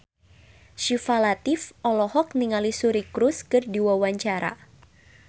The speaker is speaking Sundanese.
Syifa Latief olohok ningali Suri Cruise keur diwawancara